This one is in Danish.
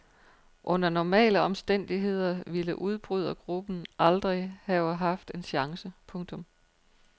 Under normale omstændigheder ville udbrydergruppen aldrig have haft en chance. punktum